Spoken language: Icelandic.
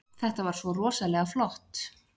Þetta var svo rosalega flott.